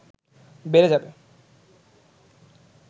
বেড়ে যাবে